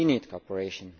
We need cooperation.